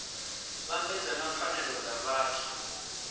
vhambedzwa na pfanelo dza vhathu